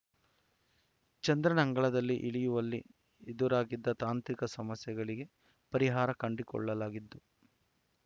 ಚಂದ್ರನ ಅಂಗಳದಲ್ಲಿ ಇಳಿಯುವಲ್ಲಿ ಎದುರಾಗಿದ್ದ ತಾಂತ್ರಿಕ ಸಮಸ್ಯೆಗಳಿಗೆ ಪರಿಹಾರ ಕಂಡುಕೊಳ್ಳಲಾಗಿದ್ದು